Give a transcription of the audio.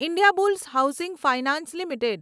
Indiabulls housing finance limited